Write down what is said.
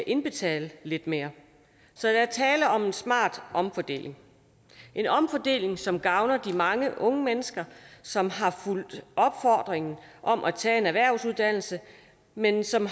indbetale lidt mere så der er tale om en smart omfordeling en omfordeling som gavner de mange unge mennesker som har fulgt opfordringen om at tage en erhvervsuddannelse men som